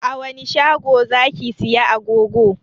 A wani shago zaki saya agogo?